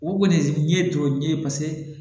O kɔni ye jɔ n ye